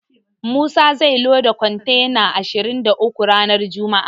Musa zai loda kontena ashirin da uku ranar juma'a.